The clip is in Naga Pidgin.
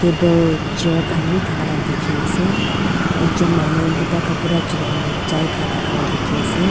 Table chair khan beh takala beh dekhe ase ekjun manu puka kabra juliana chai khai dhaka la dekhe ase.